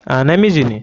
A, na miji ne.